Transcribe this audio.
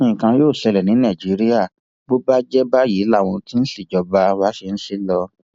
nǹkan yóò ṣẹlẹ ní nàìjíríà bó bá jẹ báyìí làwọn tí wọn ń ṣèjọba wa ṣe ń ṣe é lọ